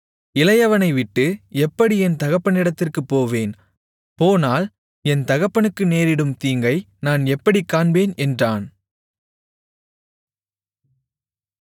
இளையவனைவிட்டு எப்படி என் தகப்பனிடத்திற்குப் போவேன் போனால் என் தகப்பனுக்கு நேரிடும் தீங்கை நான் எப்படிக் காண்பேன் என்றான்